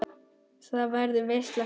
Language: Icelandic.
Það verður veisla fyrir augað.